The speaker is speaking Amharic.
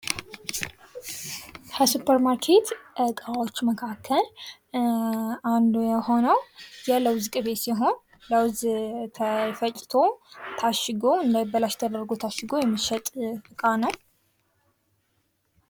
ከሱፐር ማርኬት እቃዎች መካከል አንዱ የሆነው የለውዝ ቅቤ ሲሆን ለውዝ ተፈጭቶ ታሽጎ እንዳይበላሽ ተደርጎ ታሽጎ የሚሸጥ እቃ ነው።